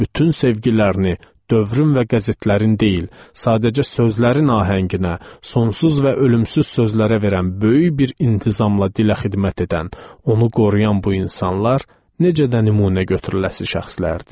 Bütün sevgilərini, dövrün və qəzetlərin deyil, sadəcə sözlərin ahənginə, sonsuz və ölümsüz sözlərə verən böyük bir intizamla dilə xidmət edən, onu qoruyan bu insanlar necə də nümunə götürüləsi şəxslərdir.